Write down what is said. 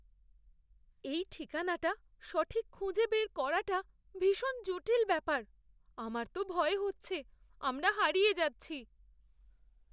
এই ঠিকানাটা সঠিক খুঁজে বের করাটা ভীষণ জটিল ব্যাপার। আমার তো ভয় হচ্ছে আমরা হারিয়ে যাচ্ছি।